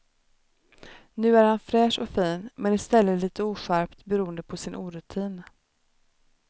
Nu är han fräsch och fin men i stället lite oskärpt beroende på sin orutin.